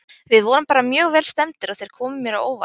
Við vorum bara mjög vel stemmdir og þeir komu mér á óvart.